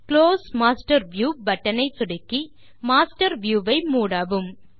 close master view button ஐ சொடுக்கி master view ஐ மூடவும்